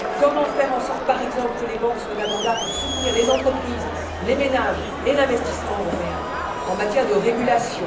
comment faire en sorte, par exemple, que les banques soient d'abord là pour soutenir les entreprises, les ménages et l'investissement européen en matière de régulation